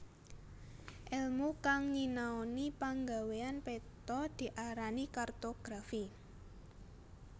Èlmu kang nyinanoni panggawéyan peta diarani kartografi